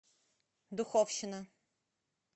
духовщина